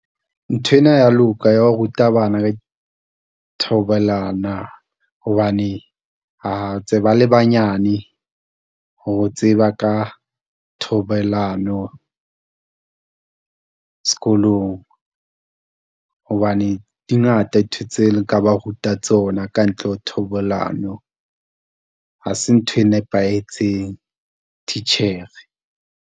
Nthwena ha e ya loka ya ho ruta bana ka dithobalano ba hobane, ntse ba le banyane ho tseba ka thobalano sekolong. Hobane di ngata dintho tse nka ba ruta tsona ka ntle ho thobalano, ha se ntho e nepahetseng, titjhere.